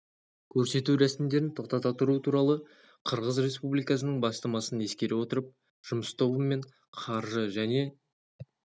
көрсету рәсімдерін тоқтата тұру туралы қырғыз республикасының бастамасын ескере отырып жұмыс тобы мен қаржы және